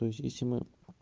то есть если мы